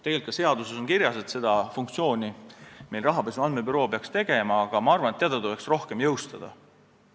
Tegelikult on seaduses kirjas, et seda funktsiooni peaks täitma rahapesu andmebüroo, aga ma arvan, et teda tuleks rohkem jõustada.